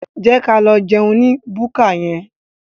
Jẹ́ ka lọ jẹun ní búkà yẹn.